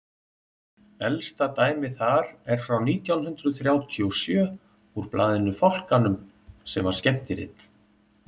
elsta dæmið þar er frá nítján hundrað þrjátíu og sjö úr blaðinu fálkanum sem var skemmtirit